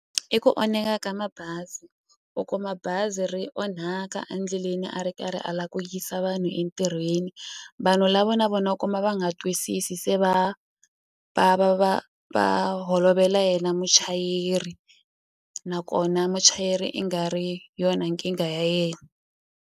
I ku onheka ka mabazi u kuma bazi ri onhaka a ndleleni a ri karhi a la ku yisa vanhu entirhweni vanhu lavo na vona u kuma va nga twisisi se va va va va va holovela yena muchayeri nakona muchayeri i nga ri yona nkingha ya yena.